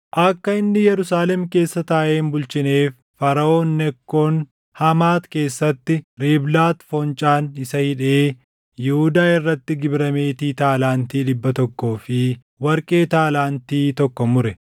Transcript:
Akka inni Yerusaalem keessa taaʼee hin bulchineef Faraʼoon Nekkoon Hamaati keessatti Riiblaati foncaan isa hidhee Yihuudaa irrattis gibira meetii taalaantii + 23:33 Taalaantiin tokko kiiloo giraamii 34. dhibba tokkoo fi warqee taalaantii tokko mure.